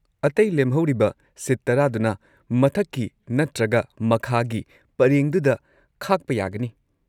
ꯑꯇꯩ ꯂꯦꯝꯍꯧꯔꯤꯕ ꯁꯤꯠ ꯇꯔꯥꯗꯨꯅ ꯃꯊꯛꯀꯤ ꯅꯠꯇ꯭ꯔꯒ ꯃꯈꯥꯒꯤ ꯄꯔꯦꯡꯗꯨꯗ ꯈꯥꯛꯄ ꯌꯥꯒꯅꯤ꯫